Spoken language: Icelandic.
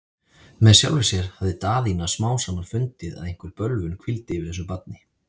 Með sjálfri sér hafði Daðína smám saman fundið, að einhver bölvun hvíldi yfir þessu barni.